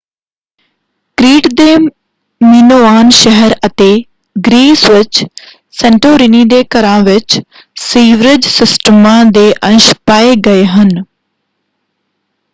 Crete ਦੇ Minoan ਸ਼ਹਿਰ ਅਤੇ ਗ੍ਰੀਸ ਵਿੱਚ ਸੇਂਟੋਰਿਨੀ ਦੇ ਘਰਾਂ ਵਿੱਚ ਸੀਵਰੇਜ ਸਿਸਟਮਾਂ ਦੇ ਅੰਸ਼ ਪਾਏ ਗਏ ਹਨ।